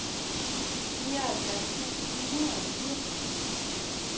nioghalvfjerds tusind ni hundrede og firs